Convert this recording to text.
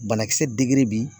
Banakisɛ bi